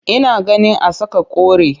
Ina ganin a saka kore